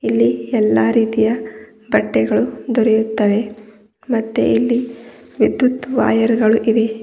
ಇಲ್ಲಿ ಎಲ್ಲಾ ರೀತಿಯ ಬಟ್ಟೆಗಳು ದೊರೆಯುತ್ತವೆ ಮತ್ತೆ ಇಲ್ಲಿ ವಿದ್ಯುತ್ ವೈಯರ್ ಗಳು ಇವೆ.